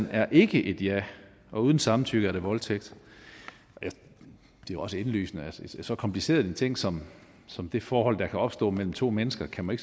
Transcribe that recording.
er et ja og uden samtykke er det voldtægt det er også indlysende så kompliceret en ting som som det forhold der kan opstå mellem to mennesker kan man